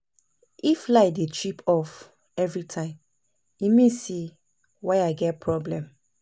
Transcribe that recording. If light dey trip off every time, e mean say wire get problem.